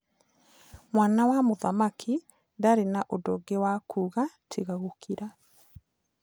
Mwana wa mũthamaki ndaarĩ na ũndũ ũngĩ wa kuuga tiga gũkira.